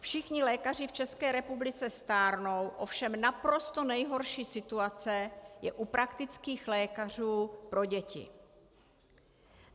Všichni lékaři v České republice stárnou, ovšem naprosto nejhorší situace je u praktických lékařů pro děti.